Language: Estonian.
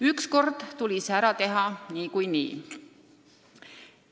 Ükskord tuli see ära teha niikuinii.